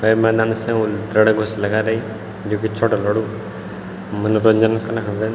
ते मैदान से होल रणकुश लगारई जू की चोट्टा लोडू क मनोरंजन कना खन रेंद।